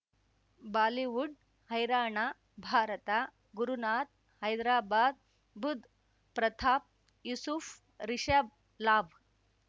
Bollywood ಹೈರಾಣ ಭಾರತ ಗುರುನಾಥ್ ಹೈದ್ರಾಬಾದ್ ಬುಧ್ ಪ್ರತಾಪ್ ಯೂಸುಫ್ ರಿಷಬ್ ಲಾಭ್